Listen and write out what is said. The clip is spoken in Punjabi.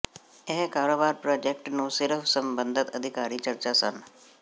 ਇਹ ਕਾਰੋਬਾਰ ਪ੍ਰਾਜੈਕਟ ਨੂੰ ਸਿਰਫ਼ ਸਬੰਧਤ ਅਧਿਕਾਰੀ ਚਰਚਾ ਸਨ